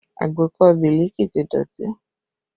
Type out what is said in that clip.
Agbékọ̀ Biliki ti dọ̀tí